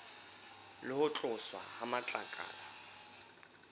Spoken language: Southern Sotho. le ho tloswa ha matlakala